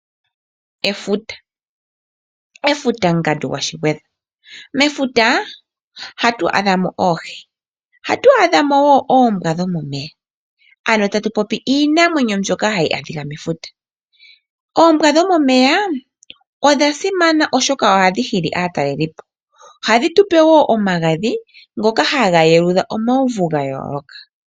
Efuta, efutangandu gwaShigwedha. Mefuta ohatu adhamo oohi, ohatu adhamo wo oombwa dhomomeya, ano tatu popi iinamwenyo mbyoka hatu adhika mefuta. Oombwa dhomomeya odha simana oshoka ohadhi hili aatalelipo, ohadhi tupe wo omagadhi ndoka haga eludha omauvu gayooloka.